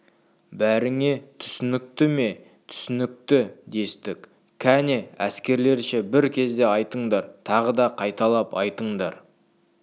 бәріңе түсінікті ме түсінікті дестік кәне әскерлерше бір кезде айтыңдар тағы да қайталап айтыңдар